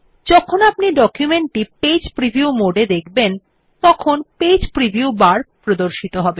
যখন আপনি ডকুমেন্টটি পেজ প্রিভিউ মোডে দেখবেন তখন পেজ প্রিভিউ বার প্রদর্শিত হবে